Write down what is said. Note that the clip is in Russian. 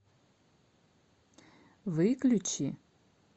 выключи